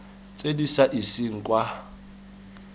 tse di sa iseng kwa